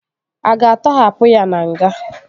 A ga-atọhapụ ya na nga?